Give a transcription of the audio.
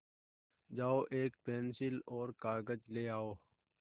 जाओ एक पेन्सिल और कागज़ ले आओ